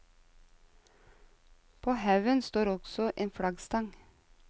På haugen står også en flaggstang.